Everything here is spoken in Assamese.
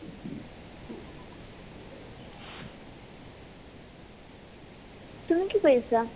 তুমি কি কৰি আছিলা ?